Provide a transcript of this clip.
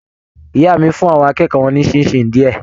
Ìyá mí fún àwọn akẹ́kọ̀ọ́ wọn ni ṣinṣin diẹ.